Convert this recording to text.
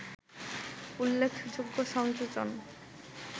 উল্লেখযোগ্য সংযোজন